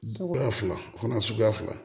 Cogoya fila o fana suguya fila